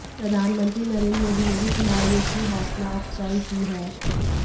प्रधानमंत्री नरेंद्र मोदी ने भी खिलाड़ियों की हौसलाअफजाई की है